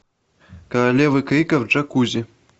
королева крика в джакузи